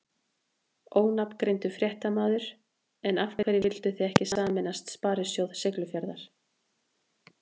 Ónafngreindur fréttamaður: En af hverju vildu þið ekki sameinast Sparisjóð Siglufjarðar?